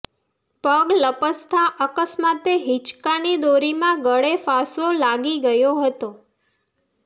પગ લપસતાં અકસ્માતે હિંચકાની દોરીમાં ગળેફાંસો લાગી ગયો હતો